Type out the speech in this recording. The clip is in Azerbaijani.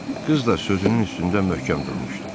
Qız da sözünün üstündə möhkəm durmuşdu.